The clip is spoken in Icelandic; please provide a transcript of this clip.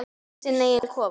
Sinn eiginn kofa.